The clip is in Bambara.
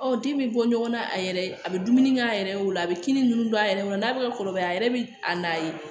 Ɔ den bɛ bɔ ɲɔgɔn na a yɛrɛ a bɛ dumuni kɛ a yɛrɛ ye o la a bɛ kinin ninnu bɔ a yɛrɛ kɔnɔ n'a bɛ ka kɔrɔbaya a yɛrɛ bɛ a na ye